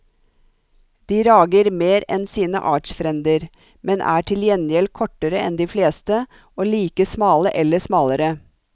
De rager mer enn sine artsfrender, men er til gjengjeld kortere enn de fleste og like smale eller smalere.